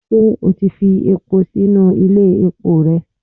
ṣe o tí fi epo sinu Ile epó rẹ?